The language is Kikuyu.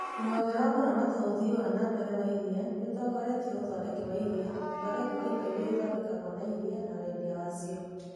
Rũhonge rwa kũramata ũthii wa na mbere wa iria nĩũtongoretie ũthondeki wa iria, ũthondeki wa indo irĩa ithondekagwo na iria na wendia wacio.